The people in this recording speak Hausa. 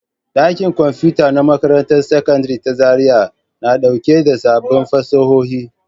Ɗakin Kwamfuta na Makarantar Sakandare ta Zariya na ɗauke da sabbin fasahohi